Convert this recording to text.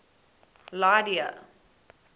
lydia